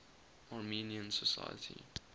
armenian society